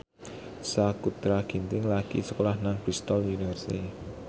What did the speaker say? Sakutra Ginting lagi sekolah nang Bristol university